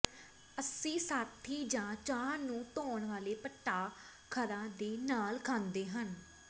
ਅਸੀਂ ਸਾਥੀ ਜਾਂ ਚਾਹ ਨੂੰ ਧੋਣ ਵਾਲੇ ਪਟਾਖਰਾਂ ਦੇ ਨਾਲ ਖਾਂਦੇ ਹਾਂ